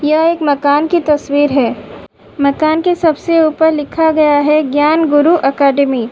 यह एक मकान की तस्वीर है। मकान के सबसे ऊपर लिखा गया है ज्ञान गुरु अकैडमी ।